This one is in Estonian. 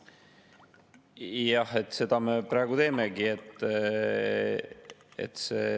Jah, seda me praegu teemegi.